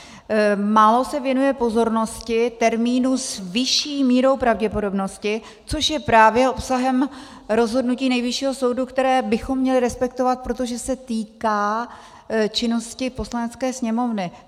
Málo se věnuje pozornosti termínu "s vyšší mírou pravděpodobnosti", což je právě obsahem rozhodnutí Nejvyššího soudu, které bychom měli respektovat, protože se týká činnosti Poslanecké sněmovny.